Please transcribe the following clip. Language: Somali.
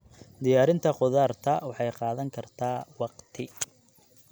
Diyaarinta khudaarta waxay qaadan kartaa waqti.